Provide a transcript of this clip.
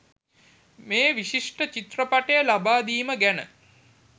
මේ විශිෂ්ට චිත්‍රපටය ලබා දීම ගැන.